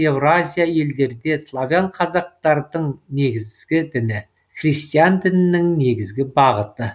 еуразия елдерде славян казактардың негізгі діні христиан дінінің негізгі бағыты